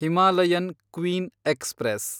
Himalayan queen express